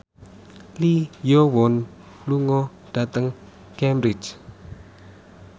Lee Yo Won lunga dhateng Cambridge